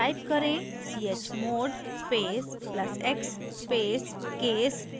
type करें chmod space plus x space case dot sh